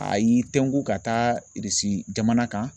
A y'i tɛnko ka taa jamana kan.